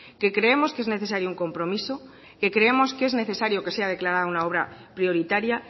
que creemos que es necesario un compromiso que creemos que es necesario que sea declarado una obra prioritaria